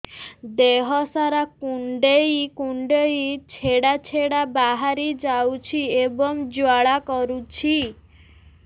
ଦେହ ସାରା କୁଣ୍ଡେଇ କୁଣ୍ଡେଇ ଛେଡ଼ା ଛେଡ଼ା ବାହାରି ଯାଉଛି ଏବଂ ଜ୍ୱାଳା କରୁଛି